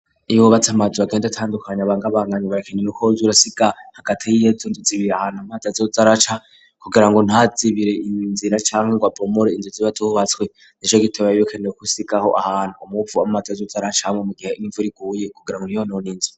Iyo wubatsi amazu bakenda itandukanye abangabangane bakinre koz urasika hagati y'iyetu nduts ibire ahantu amatazo zaraca kugira ngo ntazibire iyinzira cane ingwa pomor inzuzibat bubatswe neco gitobaebikanie kosikaho ahantu umuupfu w'amata z zaracahamwe mu gihe n'imvuri kuuye kugira ngo niyo noninzira